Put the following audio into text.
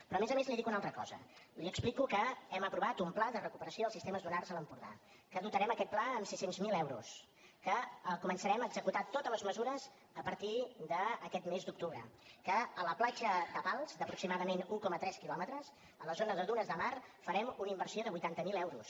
però a més a més li dic una altra cosa li explico que hem aprovat un pla de recuperació dels sistemes dunars a l’empordà que dotarem aquest pla amb sis cents miler euros que començarem a executar totes les mesures a partir d’aquest mes d’octubre que a la platja de pals d’aproximadament un coma tres quilòmetres a la zona de dunes de mar farem una inversió de vuitanta mil euros